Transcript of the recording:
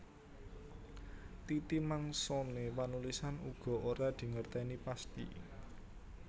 Titi mangsané panulisan uga ora dingertèni pasthi